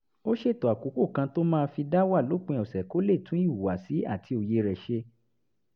ó ṣètò àkókò kan tó máa fi dá wà lópin ọ̀sẹ̀ kó lè tún ìhùwàsí àti òye rẹ̀ ṣe